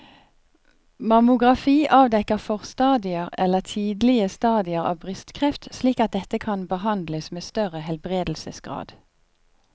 Mammografi avdekker forstadier eller tidlige stadier av brystkreft slik at dette kan behandles med større helbredelsesgrad.